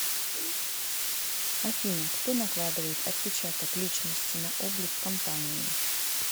афина кто накладывает отпечаток личности на облик компании